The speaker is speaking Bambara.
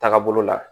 Taga bolo la